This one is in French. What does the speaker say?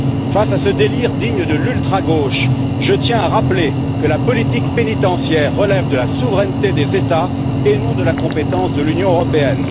Face à ce délire, digne de l'ultragauche, je tiens à rappeler que la politique pénitentiaire relève de la souveraineté des États et non de la compétence de l'Union européenne.